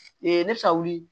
Ee ne bɛ ka wuli